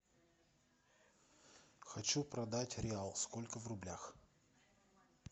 хочу продать реал сколько в рублях